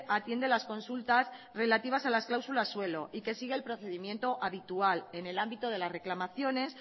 atiende las consultas relativas a las cláusulas suelo y que sigue el procedimiento habitual en el ámbito de las reclamaciones